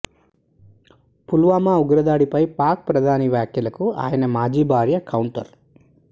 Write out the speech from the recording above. పుల్వామా ఉగ్రదాడిపై పాక్ ప్రధాని వ్యాఖ్యలకు ఆయన మాజీ భార్య కౌంటర్